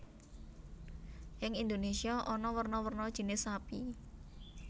Ing Indonesia ana werna werna jinis sapi